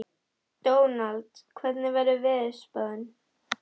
Dónald, hvernig er veðurspáin?